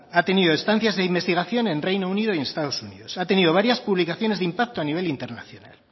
ha tenido estancias de investigación en reino unido y en estados unidos ha tenido varias publicaciones de impacto a nivel internacional